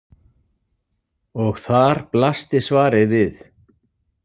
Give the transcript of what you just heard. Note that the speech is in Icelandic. Og þar blasti svarið við.